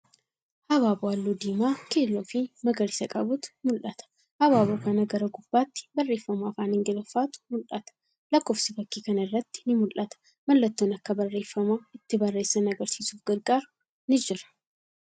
Habaaboo halluu diimaa, keelloo fii magariisa qabutu mul'ata. Habaaboo kana gara gubbaatti barreeffama afaan Ingiliffaatu mul'ata. Lakkoofsi fakkii kana irratti ni mul'ata. Mallattoon bakka barreeffama itti barreessan argisiisuf gargaaru ni jira.